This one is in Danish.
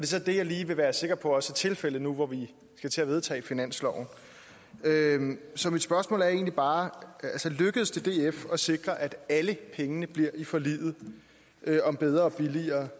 så det jeg lige vil være sikker på også er tilfældet nu hvor vi skal til at vedtage finansloven så mit spørgsmål er egentlig bare lykkedes det df at sikre at alle pengene bliver i forliget om bedre og billigere